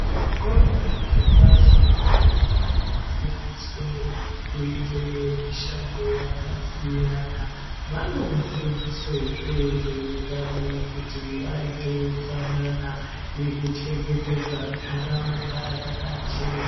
Zvikora zve pashi ana anofundiswe kuite mishando yaka siyana vano fundiswe zvee zveutano kuti vaite utsanana neku chengetedza ndaraunda yakachena.